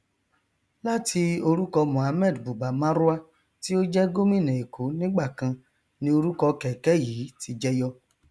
lati orúkọ mohammed buba marwa tí ó jẹ gómìnà èkó nígbàkan ni orúkọ kẹkẹ yìí ti jẹyọ